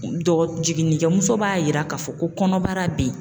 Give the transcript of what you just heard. Dɔ jiginnikɛmuso b'a yira k'a fɔ ko kɔnɔbara be yen.